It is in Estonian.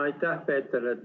Aitäh, Peeter!